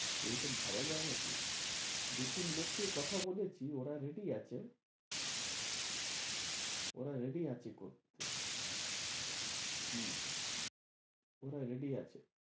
এই রকম ভাবা যাই না কি? দু -তিন লোককে কথা বলেছি ওরা ready আছে ওরা ready আছে করতে হম ওরা ready আছে,